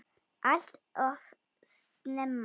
Allt of snemma.